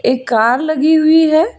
एक कार लगी हुई है।